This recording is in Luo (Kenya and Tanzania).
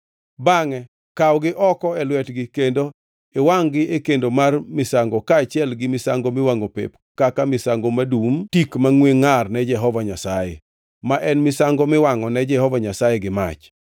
Bangʼe kawgi oko e lwetgi kendo iwangʼ-gi e kendo mar misango kaachiel gi misango miwangʼo pep kaka misango madum tik mangʼwe ngʼar ne Jehova Nyasaye, ma en misango miwangʼone Jehova Nyasaye gi mach.